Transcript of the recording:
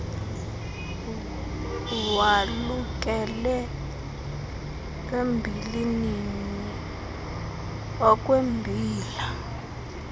walukele embilinini okwembila